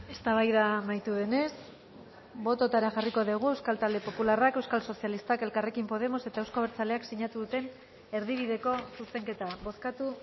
eztabaida amaitu denez bototara jarriko dugu euskal talde popularrak euskal sozialistak elkarrekin podemos eta euzko abertzaleak sinatu duten erdibideko zuzenketa bozkatu